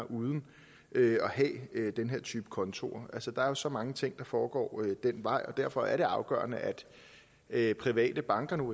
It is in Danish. uden at have den her type konto altså der er så mange ting der foregår den vej og derfor er det afgørende at private banker nu